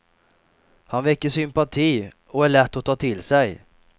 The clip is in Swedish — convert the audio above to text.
Han väcker sympati och är lätt att ta till sig.